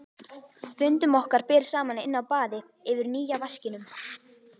Fundum okkar ber saman inni á baði yfir nýja vaskinum.